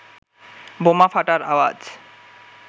বোমা ফাটার আওয়াজ